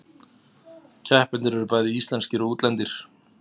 Keppendur eru bæði íslenskir og útlendir